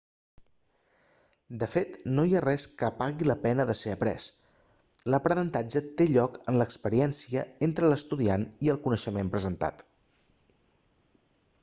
de fet no hi ha res que pagui la pena de ser après l'aprenentatge té lloc en l'experiència entre l'estudiant i el coneixement presentat